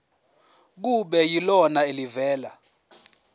kube yilona elivela